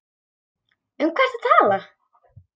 Um hvað ertu að tala?